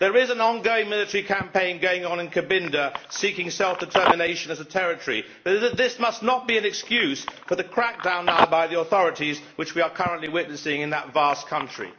There is an ongoing military campaign in Cabinda, which is seeking self determination as a territory, but this must not be an excuse for the crackdown now by the authorities which we are currently witnessing in that vast country.